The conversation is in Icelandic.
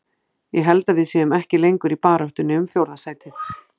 Ég held að við séum ekki lengur í baráttunni um fjórða sætið.